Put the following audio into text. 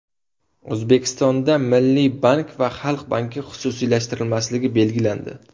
O‘zbekistonda Milliy bank va Xalq banki xususiylashtirilmasligi belgilandi.